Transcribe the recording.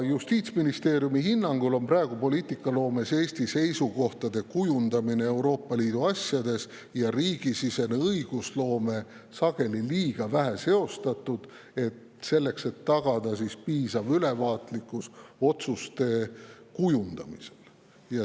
Justiitsministeeriumi hinnangul on praegu poliitikaloomes Eesti seisukohtade kujundamine Euroopa Liidu asjades ja riigisisene õigusloome sageli liiga vähe seotud, tagada piisavat ülevaatlikkust otsuste kujundamisel.